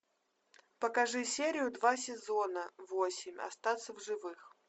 покажи серию два сезона восемь остаться в живых